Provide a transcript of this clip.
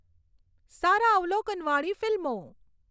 સારા અવલોકનવાળી ફિલ્મો